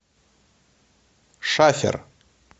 шафер